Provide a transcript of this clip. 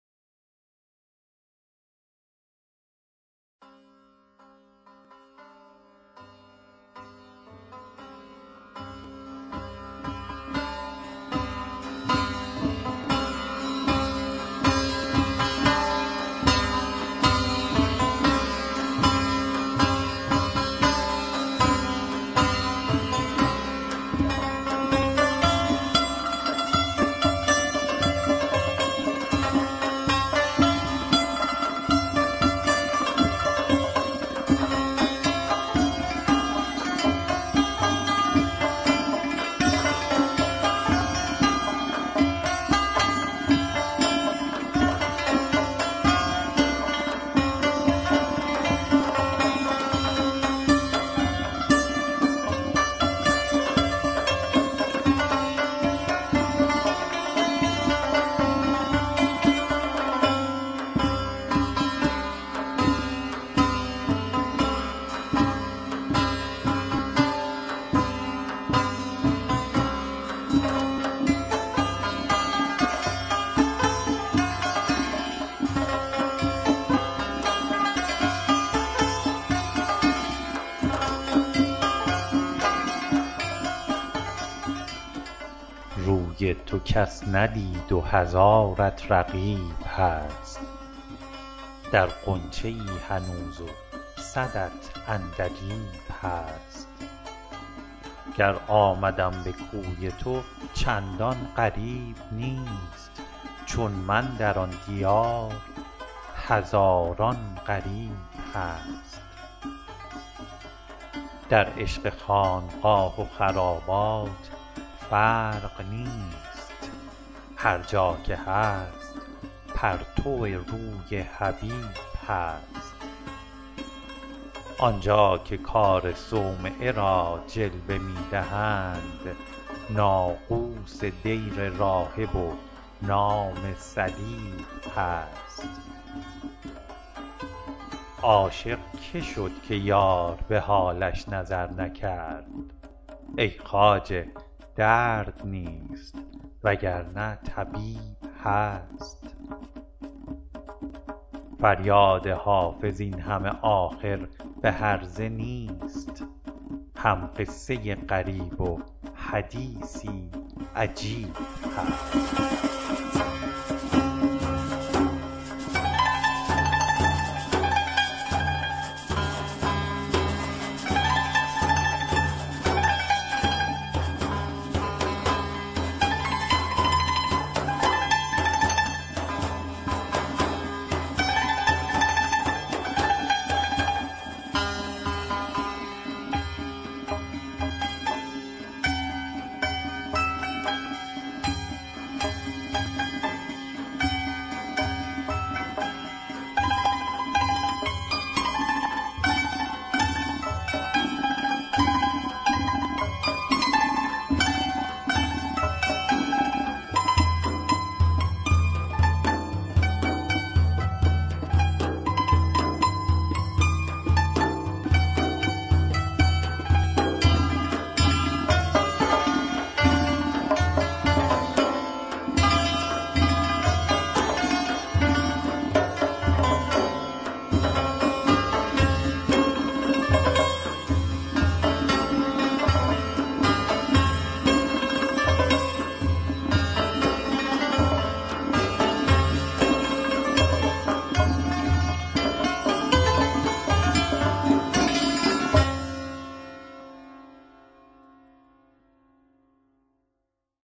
روی تو کس ندید و هزارت رقیب هست در غنچه ای هنوز و صدت عندلیب هست گر آمدم به کوی تو چندان غریب نیست چون من در آن دیار هزاران غریب هست در عشق خانقاه و خرابات فرق نیست هر جا که هست پرتو روی حبیب هست آن جا که کار صومعه را جلوه می دهند ناقوس دیر راهب و نام صلیب هست عاشق که شد که یار به حالش نظر نکرد ای خواجه درد نیست وگرنه طبیب هست فریاد حافظ این همه آخر به هرزه نیست هم قصه ای غریب و حدیثی عجیب هست